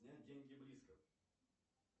снять деньги близко